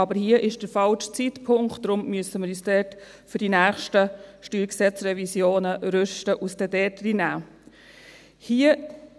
Aber dies ist der falsche Zeitpunkt, deshalb müssen wir uns da für die nächsten StG-Revisionen rüsten und es dann dort reinnehmen.